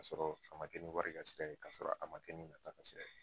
Ka sɔrɔ a ma kɛ ni wari ka sira ye, ka sɔrɔ a ma kɛ ni nata ka sira ye